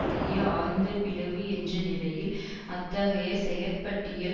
இடேயே ஆழ்ந்த பிளவு என்ற நிலையில் அத்தகைய செயற்பட்டியல்